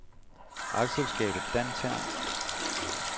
A/S Dantherm